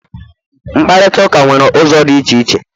mkparịta ụka nwere ụzọ dị iche iche